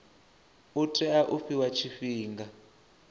u tea u fhiwa tshifhinga